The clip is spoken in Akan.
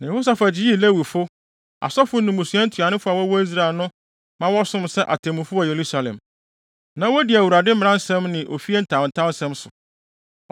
Na Yehosafat yii Lewifo, asɔfo ne mmusua ntuanofo a wɔwɔ Israel no ma wɔsom sɛ atemmufo wɔ Yerusalem. Na wodi Awurade mmara mu nsɛm ne ofie ntawntaw nsɛm nso.